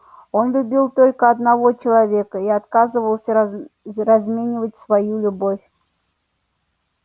он любил только одного человека и отказывался разменивать спою любовь